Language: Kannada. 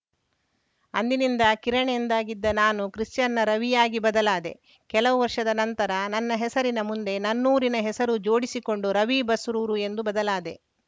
ಅಂದಿನಿಂದ ಕಿರಣ್‌ ಎಂದಾಗಿದ್ದ ನಾನು ಕ್ರಿಶ್ಚಿಯನ್‌ನ ರವಿಯಾಗಿ ಬದಲಾದೆ ಕೆಲ ವರ್ಷದ ನಂತರ ನನ್ನ ಹೆಸರಿನ ಮುಂದೆ ನನ್ನೂರಿನ ಹೆಸರು ಜೋಡಿಸಿಕೊಂಡು ರವಿ ಬಸ್ರೂರು ಎಂದು ಬದಲಾದೆ